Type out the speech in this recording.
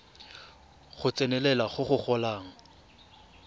go tsenelela go go golang